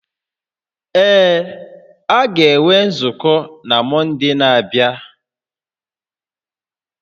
Ee, a ga-enwe nzukọ na Mọnde na-abịa